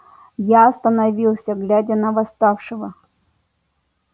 я остановился глядя на восставшего